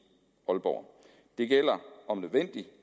aalborg det gælder om nødvendigt